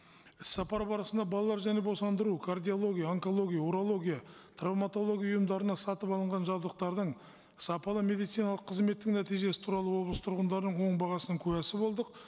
іс сапар барысында балалар және босандыру кардиология онкология урология травматология ұйымдарына сатып алынған жабдықтардың сапалы медициналық қызметтің нәтижесі туралы облыс тұрғындарының оң бағасының куәсі болдық